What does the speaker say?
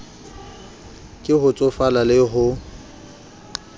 ke ho tsofala le ho